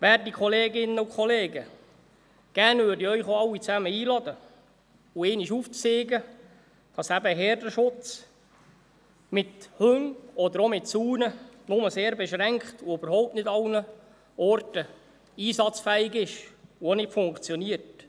Werte Kolleginnen und Kollegen, gerne würde ich Sie alle einladen und Ihnen einmal zeigen, dass eben Herdenschutz mit Hunden oder auch mit Zäunen nur sehr beschränkt und nicht an allen Orten einsatzfähig ist und auch nicht immer funktioniert.